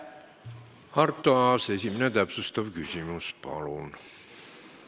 Arto Aas, esimene täpsustav küsimus, palun!